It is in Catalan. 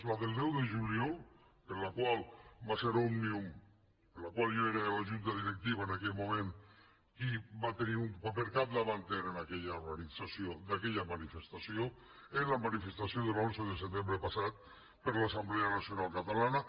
la del deu de juliol en la qual va ser òmnium del qual jo era de la junta directiva en aquell moment qui va tenir un paper capdavanter en aquella organització d’aquella manifestació la manifestació de l’onze de setembre passat per l’assemblea nacional catalana